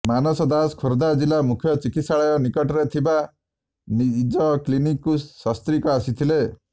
ମାନସ ଦାସ ଖୋର୍ଦ୍ଧା ଜିଲ୍ଲା ମୁଖ୍ୟ ଚିକିତ୍ସାଳୟ ନିକଟରେ ଥିବା ନିଜ କ୍ଲିନିକକୁ ସସ୍ତ୍ରୀକ ଆସିଥିଲେ